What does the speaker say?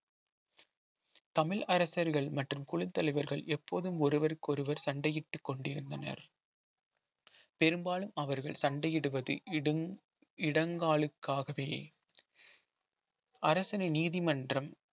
தமிழ் அரசர்கள் மற்றும் குழுத்தலைவர்கள் எப்போதும் ஒருவருக்கொருவர் சண்டையிட்டுக் கொண்டிருந்தனர் பெரும்பாலும் அவர்கள் சண்டையிடுவது இடும் இடங்காலுக்காகவே அரசினை நீதிமன்றம்